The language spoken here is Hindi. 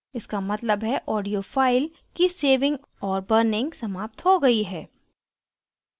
इसका मतलब है audio file की saving और burning समाप्त हो गयी है